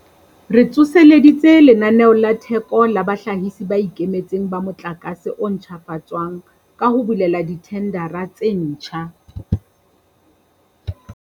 Re tsoseleditse Lenaneo la Theko la Bahlahisi ba Ikemetseng ba Motlakase o Ntjhafatswang ka ho bulela dithendara tse ditjha.